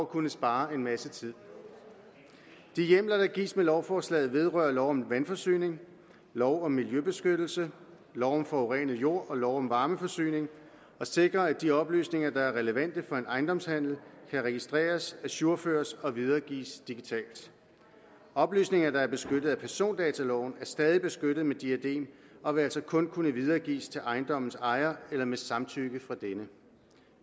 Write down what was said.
kunne spare en masse tid de hjemler der gives med lovforslaget vedrører lov om vandforsyning lov om miljøbeskyttelse lov om forurenet jord og lov om varmeforsyning og sikrer at de oplysninger der er relevante for en ejendomshandel kan registreres ajourføres og videregives digitalt oplysninger der er beskyttet af persondataloven er stadig beskyttet med diadem og vil altså kun kunne videregives til ejendommens ejer eller med samtykke fra denne